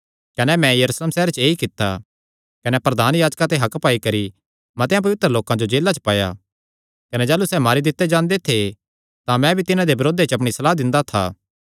कने मैं यरूशलेम सैहरे च ऐई कित्ता कने प्रधान याजकां ते हक्क पाई करी मतेआं पवित्र लोकां जो जेला च पाया कने जाह़लू सैह़ मारी दित्ते जांदे थे तां मैं भी तिन्हां दे बरोधे च अपणी सलाह दिंदा था